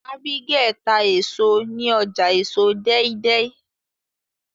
Abigael tá èso ní ọjà èso deidei